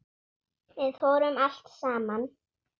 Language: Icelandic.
Við fórum allt saman.